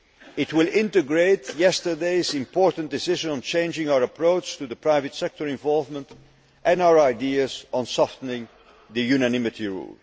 days. It will integrate yesterday's important decision on changing our approach to private sector involvement and our ideas on softening the unanimity